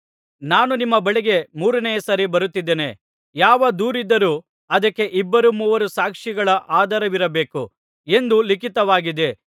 ನಾನು ನಿಮ್ಮ ಬಳಿಗೆ ಮೂರನೆಯ ಸಾರಿ ಬರುತ್ತಿದ್ದೇನೆ ಯಾವ ದೂರಿದ್ದರೂ ಅದಕ್ಕೆ ಇಬ್ಬರು ಮೂವರು ಸಾಕ್ಷಿಗಳ ಆಧಾರವಿರಬೇಕು ಎಂದು ಲಿಖಿತವಾಗಿದೆ